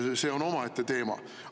See on omaette teema.